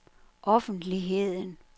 offentligheden